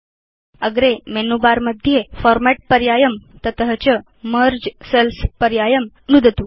अग्रे menu bar मध्ये format पर्यायं तस्मात् च मेर्गे सेल्स् पर्यायं नुदतु